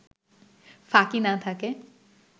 ফাঁকি না থাকে